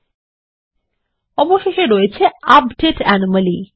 এবং সবশেষে রয়েছে আপডেট অ্যানোমালি